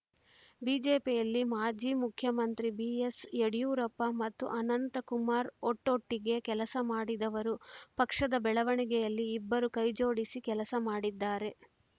ಬಿಜೆಪಿಯಲ್ಲಿ ಮಾಜಿ ಮುಖ್ಯಮಂತ್ರಿ ಬಿಎಸ್‌ಯಡಿಯೂರಪ್ಪ ಮತ್ತು ಅನಂತಕುಮಾರ್‌ ಒಟ್ಟೊಟ್ಟಿಗೆ ಕೆಲಸ ಮಾಡಿದವರು ಪಕ್ಷದ ಬೆಳವಣಿಗೆಯಲ್ಲಿ ಇಬ್ಬರು ಕೈಜೋಡಿಸಿ ಕೆಲಸ ಮಾಡಿದ್ದಾರೆ